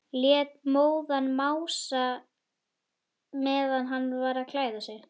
Lét móðan mása meðan hann var að klæða sig.